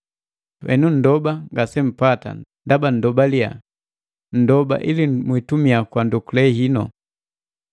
Henu, panndoba ngasempata ndaba nndoba liyaa; nndoba ili mwitumia kwa ndokule hinu.